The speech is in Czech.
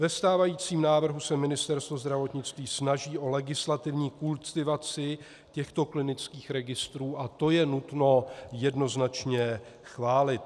Ve stávajícím návrhu se Ministerstvo zdravotnictví snaží o legislativní kultivaci těchto klinických registrů a to je nutno jednoznačně chválit.